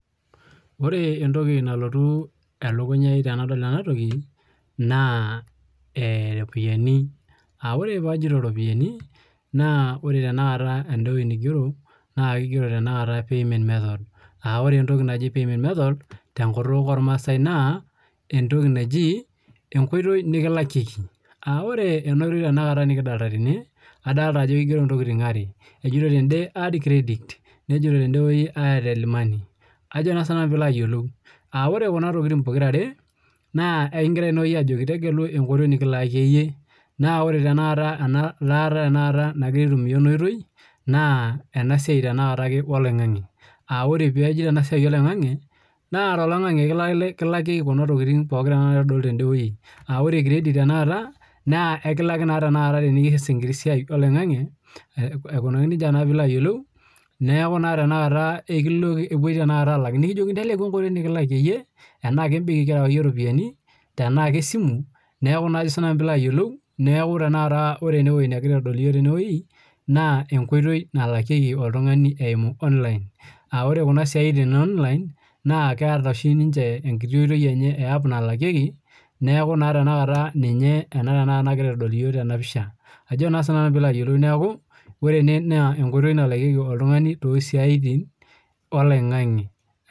Ore entoki nalotu elukunya ai tenadol enatoki naa eh iropiyiani aore pajito iropiyiani naa ore tenakata ende wueji nigero naa kigero tena kata payment method aore tenakata entoki naji payment method tenkutuk ormasae naa entoki naji enkoitoi nikilakieki aore ena oitoi nikidolta tene adalta ajo kigero intokitin are ejito tende add credit nejo tende wueji airtel money ajo naa sinanu piilo ayiolou aore kuna tokiting pokirare naa ekingirae tenewueji ajoki tegelu enkoitoi nikilakie iyie naa ore tenakata ena laata nagira aitumia ena oitoi naa ena siai tenakata ake oloing'ang'e aore pajito ena siai oloing'ang'e naa toloing'ang'e kilakieki kuna tokiting pookin tenakata naitodolu tende wueji aore credit tenakata naa ekilaki naa teniyas enkiti siai oloing'ang'e aikunaki nejia naa piilo ayiolou neeku naa tenakata ekilo ekipuoi tenakata alak nikijokini teleku enkoitoi nikilakie iyie enaa kembenki kirewaki iyie iropiyiani tenaa kesimu neeku naa ajo sinanu piilo ayiolou niaku tenakata ore enewueji negirae aitodol iyiok tenewueji naa enkoitoi nalakieki oltung'ani eimu online aore kuna siaitin e online naa keeta oshi ninche enkiti oitoi enye e app nalakieki neeku naa tenakata ninye ena tenakata nagirae aitodol iyiok tena pisha ajo naa sinanu piilo ayiolou neeku wore ene naa enkoitoi nalakieki oltung'ani tosiaitin oloing'ang'e.